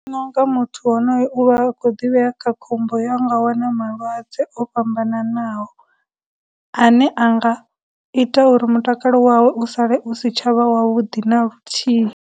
No nga muthu wonoyo u vha kho ḓivhea kha khombo ya u nga wana malwadze o fhambananaho ane anga ita uri mutakalo wawe u sale u si tsha vha wa vhudi na luthihi.